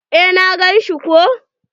Eh na gan shi ko.